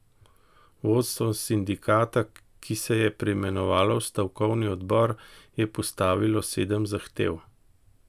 Vodstvo sindikata, ki se je preimenovalo v stavkovni odbor, je postavilo sedem zahtev.